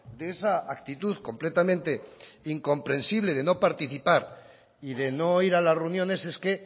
de esa actitud completamente incomprensible de no participar y de no ir a las reuniones es que